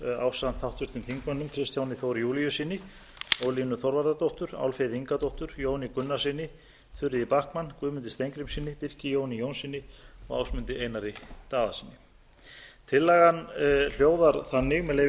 ásamt háttvirtum þingmönnum kristjáni þór júlíussyni ólínu þorvarðardóttur álfheiði ingadóttur jóni gunnarssyni þuríði backman guðmundi steingrímssyni birki jóni jónssyni og ásmundi einari daðasyni tillagan hljóðar þannig með leyfi